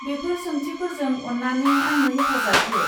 बेफोर सोंथिफोरजों अन्नानै आंनो हेफाजाब हो।